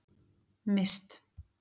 Mist